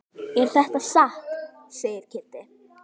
Er þetta satt? segir Kiddi.